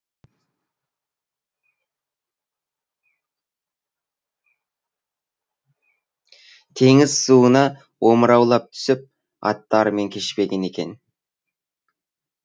теңіз суына омыраулап түсіп аттарымен кешпеген екен